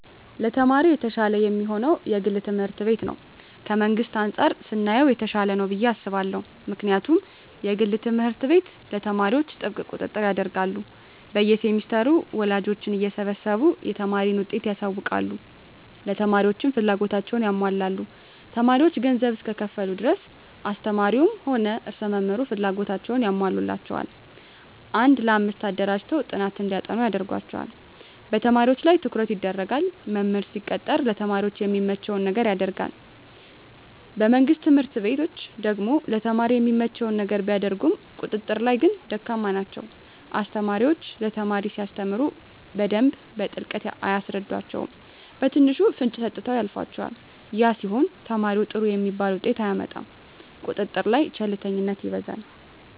ለተማሪ የተሻለ የሚሆነዉ የግል ትምህርት ቤት ነዉ ከመንግስት አንፃር ስናየዉ የተሻለ ነዉ ብየ አስባለሁ ምክንያቱም የግል ትምህርት ቤት ለተማሪዎች ጥብቅ ቁጥጥር ያደርጋሉ በየ ሴምስተሩ ወላጆችን እየሰበሰቡ የተማሪን ዉጤት ያሳዉቃሉ ለተማሪዎችም ፍላጎታቸዉን ያሟላሉ ተማሪዎች ገንዘብ እስከከፈሉ ድረስ አስተማሪዉም ሆነ ርዕሰ መምህሩ ፍላጎታቸዉን ያሟሉላቸዋል አንድ ለአምስት አደራጅተዉ ጥናት እንዲያጠኑ ያደርጓቸዋል በተማሪዎች ላይ ትኩረት ይደረጋል መምህር ሲቀጠር ለተማሪ የሚመቸዉን ነገር ያደርጋል በመንግስት ትምህርት ቤቶች ደግሞ ለተማሪ የሚመቸዉን ነገር ቢያደርጉም ቁጥጥር ላይ ግን ደካማ ናቸዉ አስተማሪዎች ለተማሪ ሲያስተምሩ በደንብ በጥልቀት አያስረዷቸዉም በትንሹ ፍንጭ ሰጥተዉ ያልፏቸዋል ያ ሲሆን ተማሪዉ ጥሩ የሚባል ዉጤት አያመጣም ቁጥጥር ላይ ቸልተኝነት ይበዛል